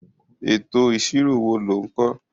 Ètò ìṣirò wo lò ń kọ́.?